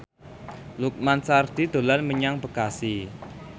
Lukman Sardi dolan menyang Bekasi